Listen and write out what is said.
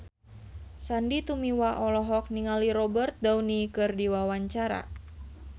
Sandy Tumiwa olohok ningali Robert Downey keur diwawancara